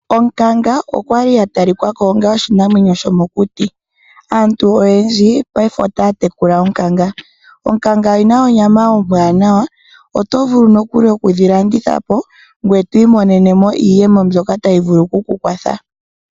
Onkanga okwali ya tali kako onga oshinamwenyo shomokuti. Aantu oyendji mopayife oyeli taya tekula oonkanga momagumbo gawo. Onkanga oyili yina onyama ombwaanawa. Mboka haya tekula oonkanga otaya vulu nee okudhi landitha po yo taya i monene iiyemo yawo mbyoka tayi ya kwatha.